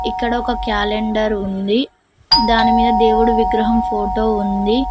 ఇక్కడ ఒక క్యాలెండర్ ఉంది దాని మీద దేవుడు విగ్రహం ఫోటో ఉంది.